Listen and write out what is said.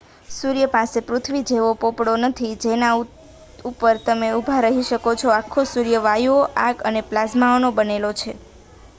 સૂર્ય પાસે પૃથ્વી જેવો પોપડો નથી કે જેના ઉપર તમે ઊભા રહી શકો છો આખો સૂર્ય વાયુઓ આગ અને પ્લાઝમાનો બનેલો છે